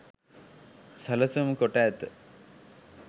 සැලසුම් කොට ඇත